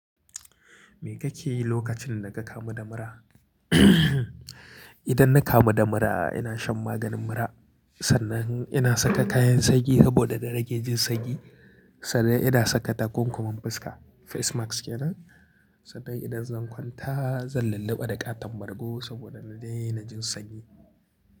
Me kake yi lokacin da ka kamu da mura? Idan na kamu da mura, ina shan maganin mura, sannan ina saka kayan sanyi saboda da rage jin sanyi, sannan ida saka takunkumin fuska, face mask yanen, sannan idan zan kwanta zan lullube da ƙaton margo saboda da dai na jin sanyi.